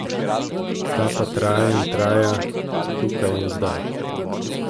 Ta pa traja in traja, tukaj in zdaj.